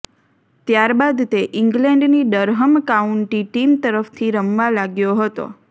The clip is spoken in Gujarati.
ત્યાર બાદ તે ઈંગ્લેન્ડની ડરહમ કાઉન્ટી ટીમ તરફથી રમવા લાગ્યો હતો